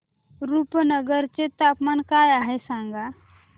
रुपनगर चे तापमान काय आहे सांगा